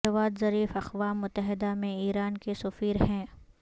جواد Zarif اقوام متحدہ میں ایران کے سفیر ہیں